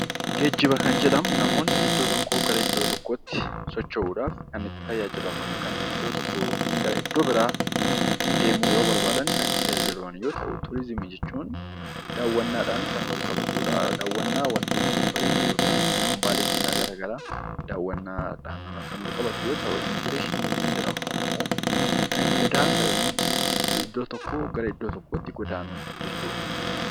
Geejjiba kan jedhamu namoonni iddoo tokkoo gara iddoo tokkootti socho'uudhaaf kan itti tajaajilaman yoo ta'u, turizimii jechuun immoo daawwannaadhaan kan walqabatudha. Daawwannaa wantoota babbareedoo yookiin kan hambaalee seenaa garaa garaadha. Immigireeshinii kan jedhamu immoo godaansa yookiin iddoo tokkoo gara iddoo tokkootti godaanuu jechuudha.